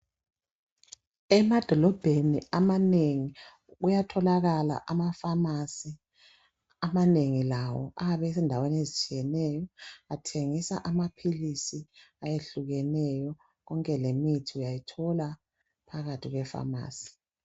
Emadolobheni amanengi uyatholakala amafamasi amanengi lawo abesindawo ezitshiyeneyo bathengisa amaphilisi ayehlukeneyo kwonke lemithi uyayithola phakathi kwefamasi.